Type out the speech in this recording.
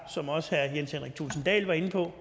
som også herre jens henrik thulesen dahl var inde på